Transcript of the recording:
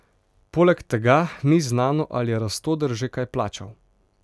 Poleg tega ni znano, ali je Rastoder že kaj plačal.